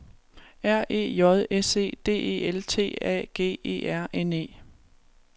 R E J S E D E L T A G E R N E